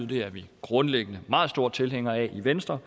det er vi grundlæggende meget store tilhængere af i venstre